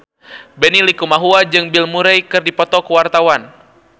Benny Likumahua jeung Bill Murray keur dipoto ku wartawan